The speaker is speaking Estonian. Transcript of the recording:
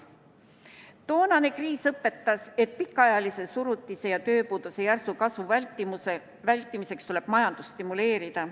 Toonane kriis õpetas, et pikaajalise surutise ja tööpuuduse järsu kasvu vältimiseks tuleb majandust stimuleerida.